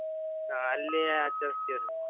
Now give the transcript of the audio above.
ಆ ಅಲ್ಲಿ ಆಚರಸ್ತೇವ್ರಿ.